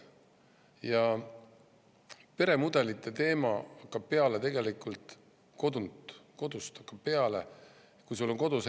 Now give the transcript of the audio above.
Ja peremudelite teema algab tegelikult kodust, sealt hakkab see peale.